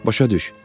Başa düş.